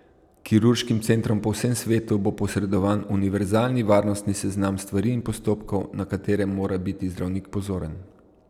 Kirurškim centrom po vsem svetu bo posredovan univerzalni varnostni seznam stvari in postopkov, na katere mora biti zdravnik pozoren.